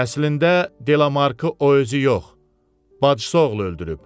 Əslində Delamarkı o özü yox, bacısı oğlu öldürüb.